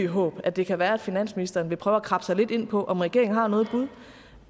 håb at det kan være at finansministeren vil prøve at krabbe sig lidt ind på om regeringen har noget bud